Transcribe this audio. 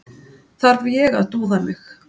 Þarf ég að dúða mig?